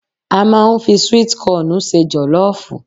A máa ń fi sweet kọọ̀nù se jọ̀lọ́ọ̀fù